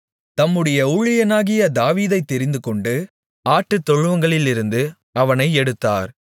தம்முடைய ஊழியனாகிய தாவீதைத் தெரிந்துகொண்டு ஆட்டுத்தொழுவங்களிலிருந்து அவனை எடுத்தார்